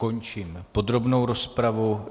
Končím podrobnou rozpravu.